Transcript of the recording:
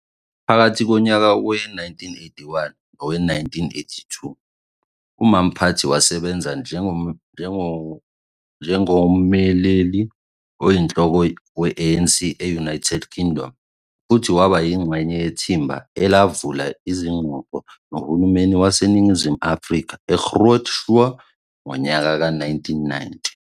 Phakathi konyaka we-1981 nowe-1982, uMompati wasebenza njengommeleli oyinhloko we-ANC e-United Kingdom futhi waba yingxenye yethimba elavula izingxoxo nohulumeni waseNingizimu Afrika eGroote Schuur ngonyaka ka-1990.